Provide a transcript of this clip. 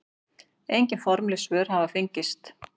Engin formleg svör hafa fengist.